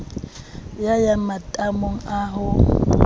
ya ya matamo a ho